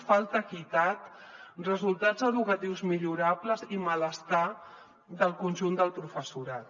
falta equitat resultats educatius millorables i malestar del conjunt del professorat